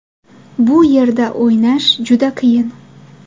Bu yerda o‘ynash juda qiyin.